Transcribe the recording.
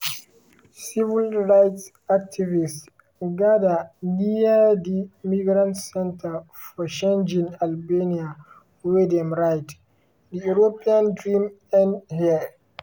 civil rights activists gada near di migrant centre for shengjin albania wey dem write: "di european dream end here."